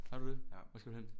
Har du det? Hvor skal du hen?